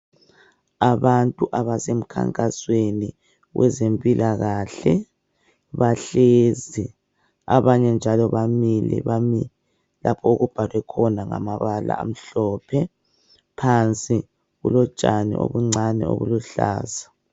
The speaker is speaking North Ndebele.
Abantu abase mkhankasweni wezempilakahle bahlezi abanye njalo bamile lapho okubhalwe khona ngamabala amhlophe phansi kulotshani obuncane obuluhlaza.